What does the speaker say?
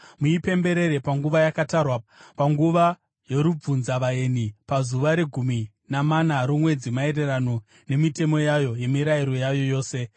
Muipemberere panguva yakatarwa, panguva yorubvunzavaeni pazuva regumi namana romwedzi, maererano nemitemo yayo nemirayiro yayo yose.”